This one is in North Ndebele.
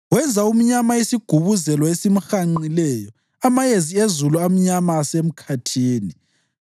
Wenza umnyama isigubuzelo esimhanqileyo, amayezi ezulu amnyama asemkhathini.